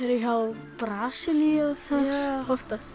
eru hjá Brasilíu oftast